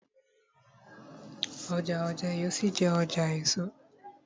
Ọjà Ojé yóò ṣì jé ọjà èso.